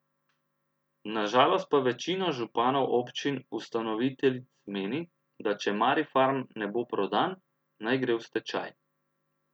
Na žalost pa večina županov občin ustanoviteljic meni, da če Marifarm ne bo prodan, naj gre v stečaj.